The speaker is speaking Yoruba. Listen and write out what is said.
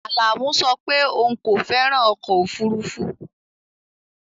Alamu so pe oun ko feran ọ̀kọ̀ ofúrúfú